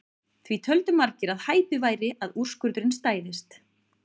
Því töldu margir að hæpið væri að úrskurðurinn stæðist.